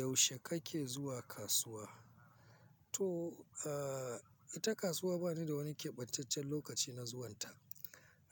Yaushe kake zuwa kasuwa? To, ita kasuwa ba ni da wani keɓantaccen lokaci na zuwanta.